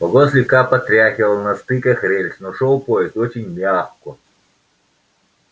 вагон слегка потряхивало на стыках рельс но шёл поезд очень мягко